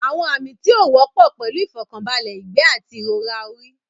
Àwọn àmì tí ó wọ́pọ̀ pẹ̀lú ìfọ̀kànbalẹ̀, ìgbẹ́, àti ìrora orí.